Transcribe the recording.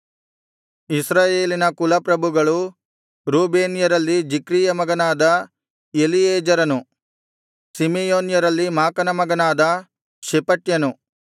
ಇಸ್ರಾಯೇಲಿನ ಕುಲ ಪ್ರಭುಗಳು ರೂಬೇನ್ಯರಲ್ಲಿ ಜಿಕ್ರೀಯ ಮಗನಾದ ಎಲೀಯೆಜೆರನು ಸಿಮೆಯೋನ್ಯರಲ್ಲಿ ಮಾಕನ ಮಗನಾದ ಶೆಪಟ್ಯನು